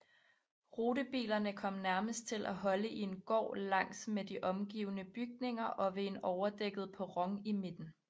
Rutebilerne kom nærmest til holde i en gård langs med de omgivende bygninger og ved en overdækket perron i midten